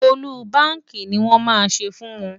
Ọ́lúbaàkì ni màá ṣe fún wọn.